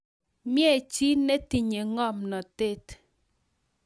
mie chi netinye ngomnotet